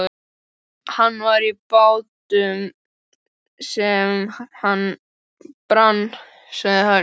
Hann var í bátnum sem brann, sagði Heiða.